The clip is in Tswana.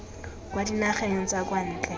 kwa dinageng tsa kwa ntle